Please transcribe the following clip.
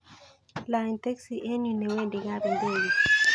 Lany teksi en yu newendi kap ndege